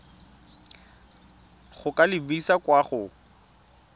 go ka lebisa kwa go